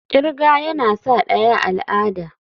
kirga yana sa daya al'ada.